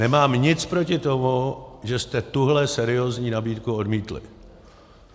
Nemám nic proti tomu, že jste tuhle seriózní nabídku odmítli.